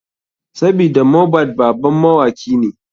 Sabida mohbad baban mawaki ne.